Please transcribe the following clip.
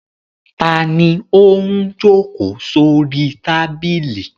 Ta ni ó ń jókòó sórí tábìlì?